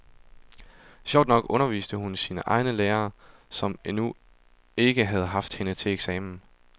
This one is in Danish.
Sjovt nok underviste hun sine egne lærere, som endnu ikke havde haft hende til eksamen.